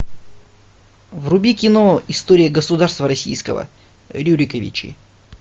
вруби кино история государства российского рюриковичи